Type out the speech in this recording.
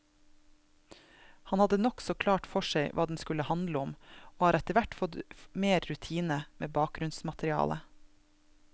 Han hadde nokså klart for seg hva den skulle handle om, og har etterhvert fått mer rutine med bakgrunnsmaterialet.